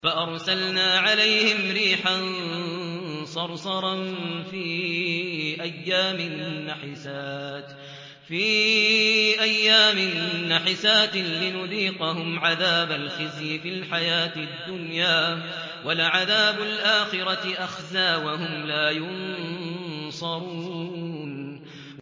فَأَرْسَلْنَا عَلَيْهِمْ رِيحًا صَرْصَرًا فِي أَيَّامٍ نَّحِسَاتٍ لِّنُذِيقَهُمْ عَذَابَ الْخِزْيِ فِي الْحَيَاةِ الدُّنْيَا ۖ وَلَعَذَابُ الْآخِرَةِ أَخْزَىٰ ۖ وَهُمْ لَا يُنصَرُونَ